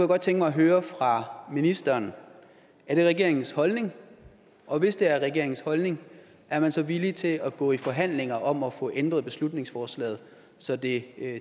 godt tænke mig at høre fra ministeren er det regeringens holdning og hvis det er regeringens holdning er man så villig til at gå i forhandlinger om at få ændret beslutningsforslaget så det